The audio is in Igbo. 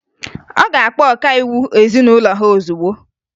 Ọ ga-akpọ ọkaiwu ezinụlọ ha ozugbo